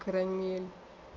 карамель